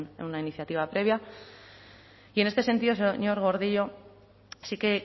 en una iniciativa previa y en este sentido señor gordillo sí que